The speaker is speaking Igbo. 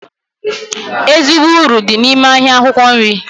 Ezigbo uru dị n'ime ahịa akwụkwọ nri